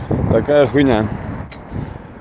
такая хуйня